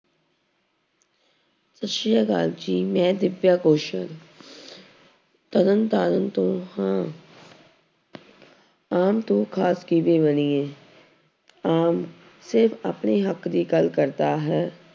ਸਤਿ ਸ੍ਰੀ ਅਕਾਲ ਜੀ ਮੈਂ ਦਿਵਯਾ ਗੋਸ਼ਲ ਤਰਨਤਾਰਨ ਤੋਂ ਹਾਂ ਆਮ ਤੋਂ ਖ਼ਾਸ ਕਿਵੇਂ ਬਣੀਏ ਆਮ ਸਿਰਫ਼ ਆਪਣੇ ਹੱਕ ਦੀ ਗੱਲ ਕਰਦਾ ਹੈ